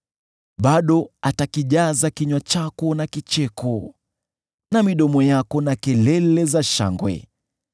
Bado atakijaza kinywa chako na kicheko, na midomo yako na kelele za shangwe.